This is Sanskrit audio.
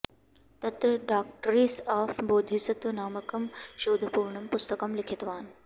तत्र डाक्ट्रिस् आफ् बोधिसत्व नामकं शोधपूर्णं पुस्तकं लिखितवान्